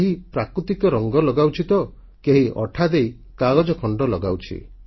କେହି ପ୍ରାକୃତିକ ରଙ୍ଗ ଲଗାଉଛି ତ କେହି ଅଠାଦେଇ କାଗଜ ଖଣ୍ଡ ଲଗାଉଛି